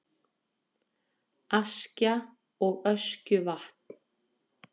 Askja og Öskjuvatn.